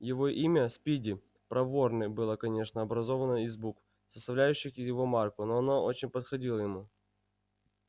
его имя спиди проворный было конечно образовано из букв составлявших его марку но оно очень подходило ему